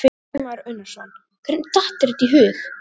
Kristján Már Unnarsson: Hvernig datt þér þetta í hug?